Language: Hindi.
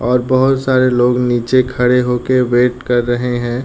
और बहोत सारे लोग नीचे खड़े होके वेट कर रहे है।